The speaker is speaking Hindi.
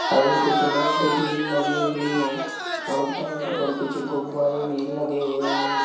और कुछ लाइटे भीं लगी हुई है और टेंट पर कुछ गुब्बारे भी लगे हुए हैं।